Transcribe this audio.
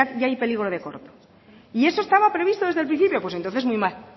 ya hay peligro de corte y eso estaba previsto desde el principio pues entonces muy mal